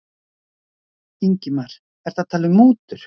Ingimar: Ertu að tala um mútur?